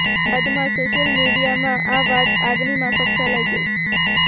બાદમાં સોશ્યલ મિડિયામાં આ વાત આગની માફક ફેલાઈ ગઇ